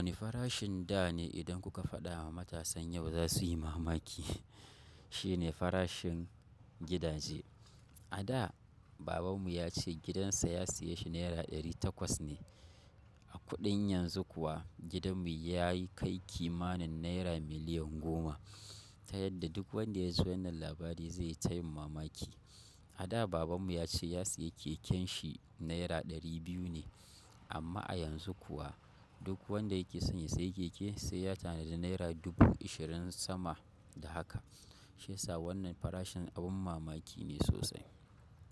Wane farashin da ne idan kuka faɗa ma matasan yau za su yi mamaki? Shine farashin gidaje. A da, baban mu yace gidan sa ya saye shi naira ɗari takwas ne. A kuɗin yanzu kuwa gidanmu ya kai kimanin Naira miliyan goma. Ta yadda duk wanda ya ji wannan labari zai ta yin mamaki. A da Babanmu ya ce ya sayi keken shi Naira ɗari biyu ne amma a yanzu kuwa duk wanda yake son ya sayi keke, sai ya tanadi Naira dubu ishirin sama da haka. Shi yasa wannan farashin abin mamaki ne sosai.